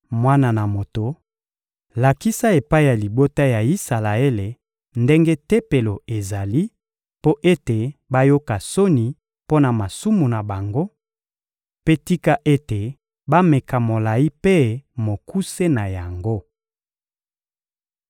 Mwana na moto, lakisa epai ya libota ya Isalaele ndenge Tempelo ezali mpo ete bayoka soni mpo na masumu na bango; mpe tika ete bameka molayi mpe mokuse na yango.